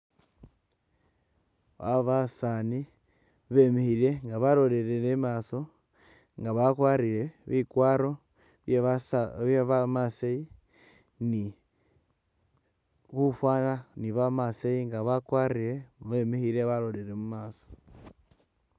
Aba basani bemikhile nga balolele imaso nga bakwarile bikwaro bye bamaasai ni bufana ba maasai nga bakwarile bemikhile balolele mumaaso.